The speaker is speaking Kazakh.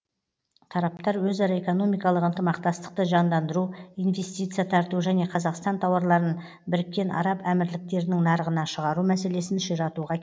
тараптар өзара экономикалық ынтымақтастықты жандандыру инвестиция тарту және қазақстан тауарларын біріккен араб әмірліктерінің нарығына шығару мәселесін ширатуға